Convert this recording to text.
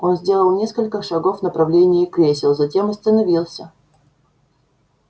он сделал несколько шагов в направлении кресел затем остановился